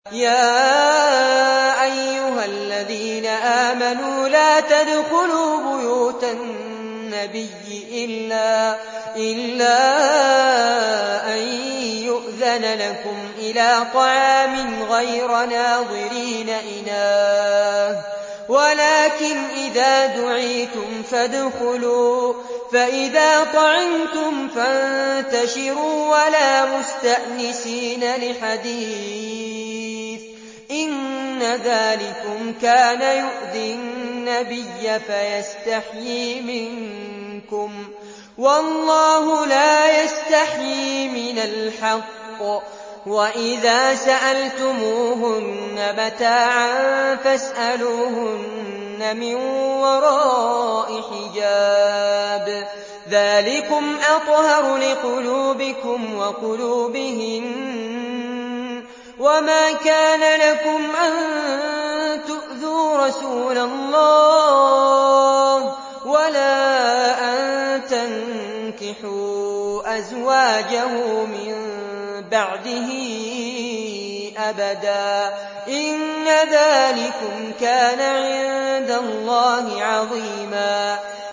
يَا أَيُّهَا الَّذِينَ آمَنُوا لَا تَدْخُلُوا بُيُوتَ النَّبِيِّ إِلَّا أَن يُؤْذَنَ لَكُمْ إِلَىٰ طَعَامٍ غَيْرَ نَاظِرِينَ إِنَاهُ وَلَٰكِنْ إِذَا دُعِيتُمْ فَادْخُلُوا فَإِذَا طَعِمْتُمْ فَانتَشِرُوا وَلَا مُسْتَأْنِسِينَ لِحَدِيثٍ ۚ إِنَّ ذَٰلِكُمْ كَانَ يُؤْذِي النَّبِيَّ فَيَسْتَحْيِي مِنكُمْ ۖ وَاللَّهُ لَا يَسْتَحْيِي مِنَ الْحَقِّ ۚ وَإِذَا سَأَلْتُمُوهُنَّ مَتَاعًا فَاسْأَلُوهُنَّ مِن وَرَاءِ حِجَابٍ ۚ ذَٰلِكُمْ أَطْهَرُ لِقُلُوبِكُمْ وَقُلُوبِهِنَّ ۚ وَمَا كَانَ لَكُمْ أَن تُؤْذُوا رَسُولَ اللَّهِ وَلَا أَن تَنكِحُوا أَزْوَاجَهُ مِن بَعْدِهِ أَبَدًا ۚ إِنَّ ذَٰلِكُمْ كَانَ عِندَ اللَّهِ عَظِيمًا